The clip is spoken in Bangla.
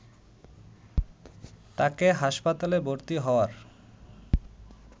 তাকে হাসপাতালে ভর্তি হওয়ার